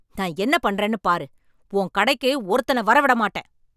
நான் என்ன பண்றேன்னு பாரு. உன் கடைக்கு ஒருத்தனை வர விட மாட்டேன்.